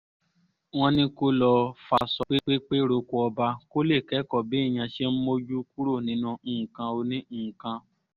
wọ́n ní kó lọo faṣọ pépé roko ọba kó lè kẹ́kọ̀ọ́ béèyàn ṣe ń mójú kúrò nínú nǹkan oní-nǹkan